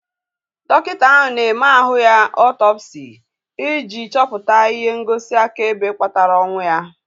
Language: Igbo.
Dọkịta ahu na-eme ahụ ya ọtọpsi ị ji chọpụta ihe ngosi akaebe kpatara ọnwụ ya